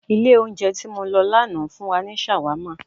Ilẹ̀ oúnjẹ ti mọ lọ lánàá fun wa ni ṣàwámà